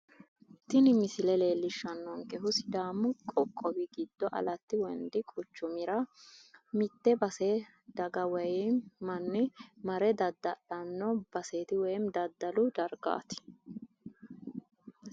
tini misile leellishshannonkehu sidaamu qoqowi giddo aletta wondi quchumira mitte base daga woyinm manni mare dadda'lanno baseeti woyim daddalu dargaati